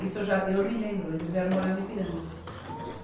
Isso eu já, eu me lembro, eles vieram morar no Ipiranga.